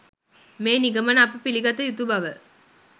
මේ නිගමන අප පිළිගත යුතු බව